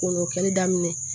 O n'o kɛli daminɛ